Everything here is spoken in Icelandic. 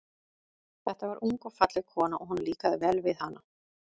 Þetta var ung og falleg kona, og honum líkaði vel við hana.